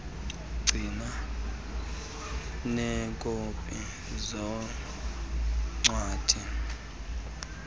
ugcine neekopi zeencwadi